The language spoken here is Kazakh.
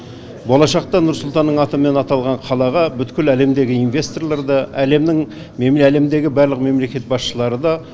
болашақта нұрсұлтанның атымен аталған қалаға бүткіл әлемдегі инвесторлар да әлемнің әлемдегі барлық мемлекет басшылары да